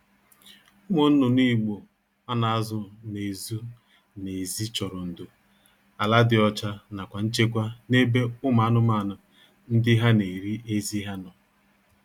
Ụmụ nnụnụ Igbo a na-azụ n'ezụ n'ezi chọrọ ndo, ala dị ọcha nakwa nchekwa n'ebebe umu anụmaanụ ndiha na-eri ezi ha nọ